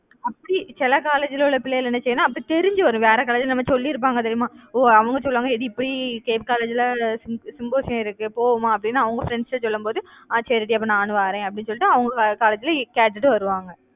அப்படி சில college ல உள்ள பிள்ளைகள என்ன செய்யும்னா, அப்ப தெரிஞ்சு வரும். வேற college ல நம்ம சொல்லியிருப்பாங்க தெரியுமா ஓஹ் அவங்க சொல்லுவாங்க இப்படி same college ல symposium இருக்கு போவோமா அப்படின்னு அவங்க friends கிட்ட சொல்லும் போது அஹ் சரி டி அப்ப நானும் வாரேன் அப்படின்னு சொல்லிட்டு அவங்க college லயே கேட்டுட்டு வருவாங்க.